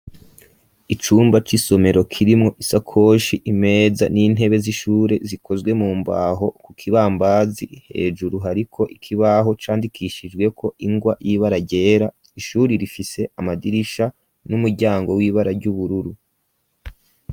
Icumba c'isomero kirimwo isakoshi, imeza, n'intebe z'ishure zikozwe mu mbaho, ku kibambazi hejuru hariko ikibaho candikishijweko ingwa y'ibara ryera, ishuri rifise amadirisha n'umuryango w'ibara ry'ubururu.